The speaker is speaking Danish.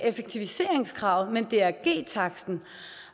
effektiviseringskravet men drg taksten